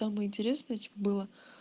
самое интересное тип было